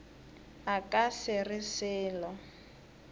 a ka se re selo